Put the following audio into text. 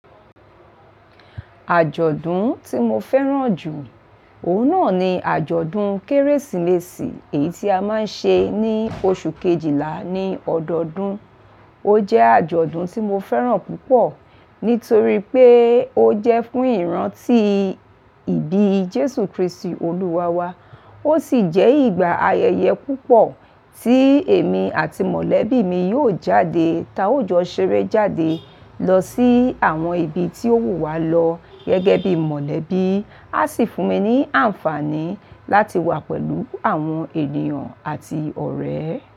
Àjọ̀dún tí mo fẹ́ràn jù, òun náà ni àjọ̀dún Kérésìmesì èyí tí a máa ń ṣe ní oṣù kejìlá ní ọdọdún. Ó jẹ́ àjọ̀dún tí mo fẹ́ràn púpọ̀ nítorí pé ó jẹ́ fún ìrántí ìbí Jésù Kristi Olúwa wa. Ó sì jẹ́ ìgbà ayẹyẹ púpọ̀ tí èmi àti mọ̀lẹ́bí mi yóò jáde, tá òjòọ ṣeré jáde lọ sí àwọn ibi tí ó wù wá lọ gẹ́gẹ́ bí mọ̀lẹ́bí. A sì fún mi ní àǹfààní láti wà pẹ̀lú àwọn ènìyàn àti ọ̀rẹ́.